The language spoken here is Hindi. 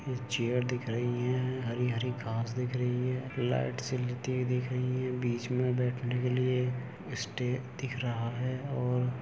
ये चेयर दिख रहीं हैं हरी हरी घास दिख रही है लाइट से लेती हुई दिख रही हैं। बिच में बैठने के लिए स्टेज दिख रहा है और --